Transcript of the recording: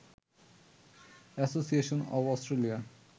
association of Australia